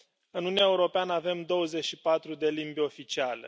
În Uniunea Europeană avem 24 de limbi oficiale.